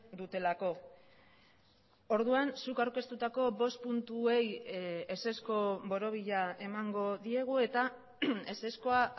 dutelako orduan zuk aurkeztutako bost puntuei ezezko borobila emango diegu eta ezezkoa